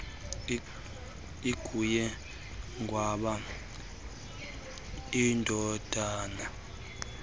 inguye qwaba indodana